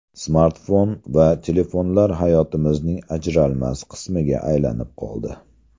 Smartfon va telefonlar hayotimizning ajralmas qismiga aylanib qoldi.